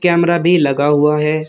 Camera भी लगा हुआ है।